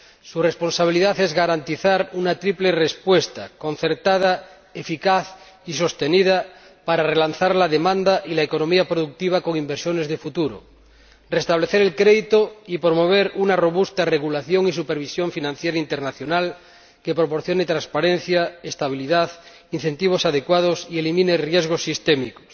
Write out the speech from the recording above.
su responsabilidad es garantizar una triple respuesta concertada, eficaz y sostenida para relanzar la demanda y la economía productiva con inversiones de futuro, restablecer el crédito y promover una robusta regulación y supervisión financiera internacional que proporcione transparencia, estabilidad, incentivos adecuados, que elimine riesgos sistémicos